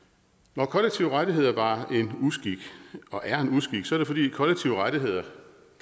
når kollektive rettigheder var en uskik og er en uskik er det fordi kollektive rettigheder